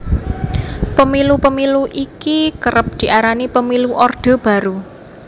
Pemilu Pemilu iki kerep diarani Pemilu Orde Baru